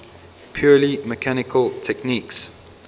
purely mechanical techniques